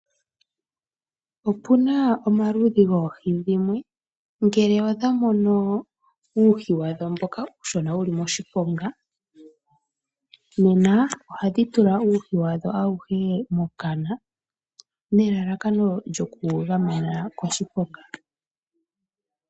Opuna omaludhi goohi dhimwe ngele odha mono uuhi wadho mboka uushona wuli moshiponga, nena ohadhi tula uuhi wadho awuhe mokana nelalakano lyokuwu gamena koshiponga.